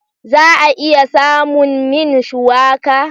Za a iya samun min shuwaka?